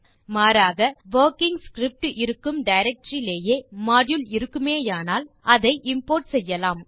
மாறாக working script இருக்கும் directory ரிலேயே மாடியூல் இருக்குமானால் அதை இம்போர்ட் செய்யலாம்